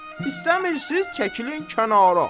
İstəmirsiz, çəkilin kənara.